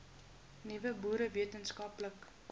nuwe boere wetenskaplike